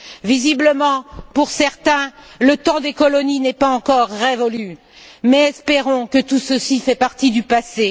Visiblement, pour certains, le temps des colonies n'est pas encore révolu mais espérons que tout ceci fait partie du passé.